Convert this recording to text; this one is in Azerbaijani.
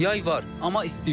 Yay var, amma isti yox.